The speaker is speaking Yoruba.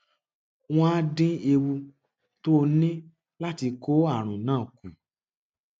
wọn á dín ewu tó o ní láti kó àrùn náà kù